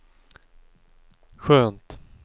skönt